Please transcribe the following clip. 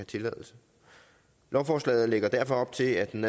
tilladelse lovforslaget lægger derfor op til at den